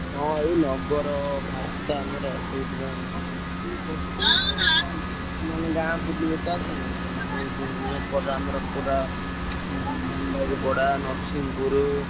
ହଁ ଏଇ ନଗର ବାହାରିଛି ତ ଆମର ସେଇଥି ପାଇଁ bgspeech ମାନେ ଗାଁ ବୁଲିବ ତ ଆଜି ।